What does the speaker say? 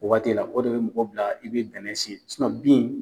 O waati la o de bɛ mɔgɔ bila i bɛ bɛnɛ siyɛn bin.